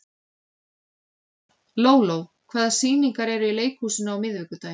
Lóló, hvaða sýningar eru í leikhúsinu á miðvikudaginn?